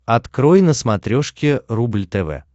открой на смотрешке рубль тв